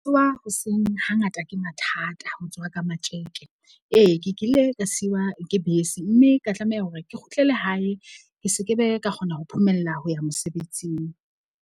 Tsoha hoseng ha ngata ke mathata. Ho tsoha ka matjeke ee, ke kile ka siwa ke bese. Mme ka tlameha hore ke kgutlele hae ke sekebe ka kgona ho phomella ho ya mosebetsing.